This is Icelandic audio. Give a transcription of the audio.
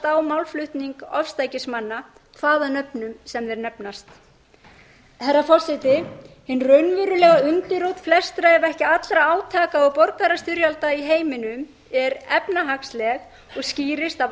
að fallast á málflutning ofstækismanna hvaða nöfnum sem þeir nefnast herra forseti hin raunverulega undirrót flestra ef ekki allra átaka borgarastyrjalda í heiminum er efnahagsleg og skýrist af